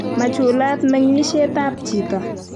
machulat mengishet ab chito